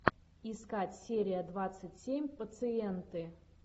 искать серия двадцать семь пациенты